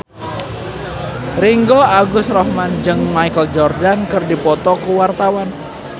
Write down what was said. Ringgo Agus Rahman jeung Michael Jordan keur dipoto ku wartawan